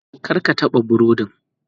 Kar ka taɓa burodin.